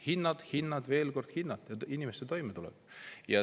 Hinnad, hinnad ja veel kord hinnad, inimeste toimetulek.